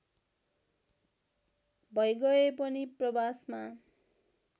भैगए पनि प्रवासमा